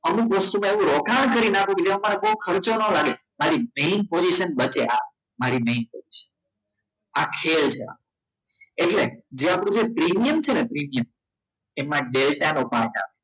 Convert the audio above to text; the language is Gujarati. અમુક વસ્તુઓમા અવુ લખાન કરી ને અપુ કે જેમાં મારે બહુ ખર્ચો ન લાગે મારી main position બચે આ મારી main position આ ખેલ છે એટલે જે આપણું જે પ્રીમિયમ છે ને પ્રીમિયમ એમાં ડેલ્ટાનો ભાગ આવે